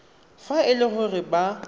fa e le gore ba